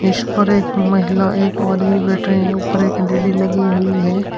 इस पर एक महिला एक आदमी बैठे हैं ऊपर एक एल_ई_डी लगी हुई है।